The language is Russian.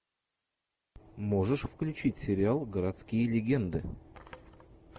можешь включить сериал городские легенды